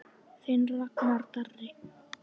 Þinn Ragnar Darri.